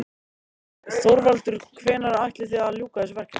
Heimir Már: Þorvaldur hvenær áætlið þið að ljúka þessu verki?